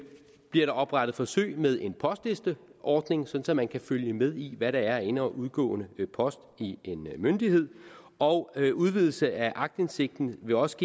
bliver der oprettet forsøg med en postlisteordning så man kan følge med i hvad der er af ind og udgående post i en myndighed og udvidelse af aktindsigten vil også